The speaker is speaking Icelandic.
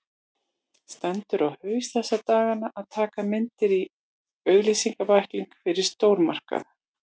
Stendur á haus þessa dagana að taka myndir í auglýsingabækling fyrir stórmarkað.